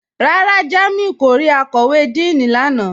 Rárá, Jàmíù kò rí àkọ̀wé Díìní lánà